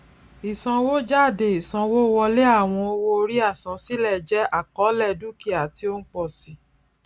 ìsanwójádé ìsanwówọlé àwọn owóorí àsansílẹ jẹ àkọlé dukia ti o ń pọ si